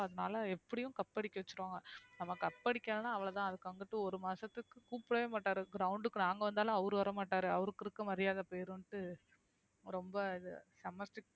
அதனால எப்படியும் cup அடிக்க வச்சிருவாங்க நம்ம cup அடிக்கலைன்னா அவ்வளவுதான் அதுக்கு வந்துட்டு ஒரு மாசத்துக்கு கூப்பிடவே மாட்டாரு ground க்கு நாங்க வந்தாலும் அவரு வரமாட்டாரு அவருக்கு இருக்க மரியாதை போயிரும்ன்ட்டு ரொம்ப இது செம்ம strict